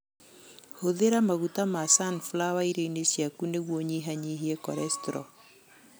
Hũthĩra maguta ma sunflower irio-inĩ ciaku nĩguo ũnyihanyihie korecitrol.